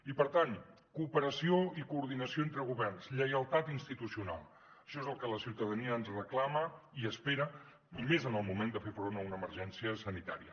i per tant cooperació i coordinació entre governs lleialtat institucional això és el que la ciutadania ens reclama i espera i més en el moment de fer front a una emergència sanitària